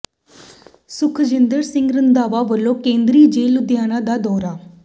ਸੁਖਜਿੰਦਰ ਸਿੰਘ ਰੰਧਾਵਾ ਵੱਲੋਂ ਕੇਂਦਰੀ ਜੇਲ੍ਹ ਲੁਧਿਆਣਾ ਦਾ ਦੌਰਾ